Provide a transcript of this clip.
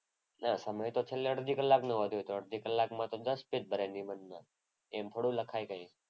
ના સમય તો છેલ્લે અડધી કલાકનો વધે. તો અડધી કલાકમાં તો દસ પેજ ભરે નિબંધ. એમ થોડું લખાય કઈ?